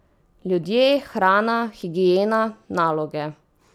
Ljudje, hrana, higiena, naloge ...